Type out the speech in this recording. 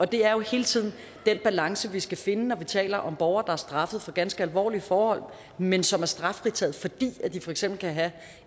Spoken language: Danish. det er jo hele tiden den balance vi skal finde når vi taler om borgere der er straffet for ganske alvorlige forhold men som er straffritaget fordi de for eksempel kan have